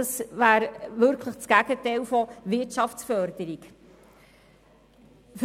Es würde tatsächlich dem Gegenteil von Wirtschaftsförderung entsprechen.